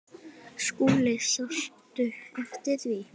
SKÚLI: Sástu eftir því?